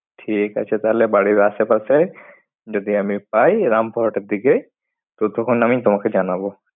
ঠিক আছে, তাহলে বাড়ির আশেপাশে যদি আমি পাই রামপুরহাটের দিকে। তো তখন আমি তোমাকে জানাবো।